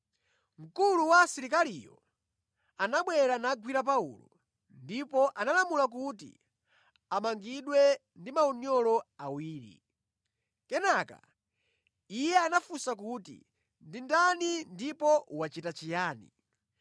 Mkulu wa asilikaliyo anabwera nagwira Paulo, ndipo analamula kuti amangidwe ndi maunyolo awiri. Kenaka iye anafunsa kuti ndi ndani ndipo wachita chiyani.